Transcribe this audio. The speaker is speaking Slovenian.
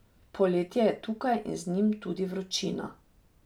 Poletje je tukaj in z njim tudi vročina.